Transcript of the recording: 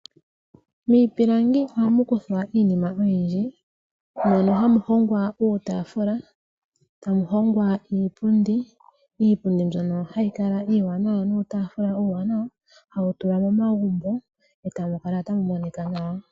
Miipilangi ohamu kuthwa iinima oyindji mono hamu hongwa uutafula, tamu hongwa iipundi. Iipundi mbyono hayi kala iiwanawa nuutafula uuwanwa hawu tulwa momagumbo etamu kala tamu monika nawa.